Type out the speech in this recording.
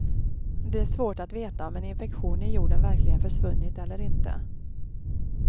Det är svårt att veta om en infektion i jorden verkligen försvunnit eller inte.